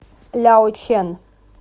ляочэн